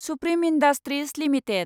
supreme industries limited